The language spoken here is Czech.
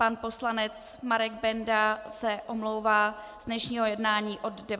Pan poslanec Marek Benda se omlouvá z dnešního jednání od 19 hodin.